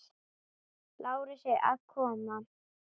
Lárusi að koma.